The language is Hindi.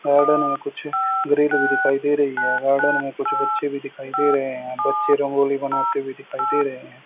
गार्डन में कुछ ग्रिल भी दिखाई दे रही है गार्डन में कुछ बच्चे भी दिखाई दे रहे हैं बच्चे रंगोली बनाते हुए दिखाई दे रहे हैं।